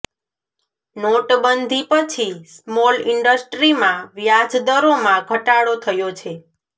નોટબંધી પછી સ્મોલ ઇન્ડસ્ટ્રીમાં વ્યાજ દરોમાં ઘટાડો થયો છે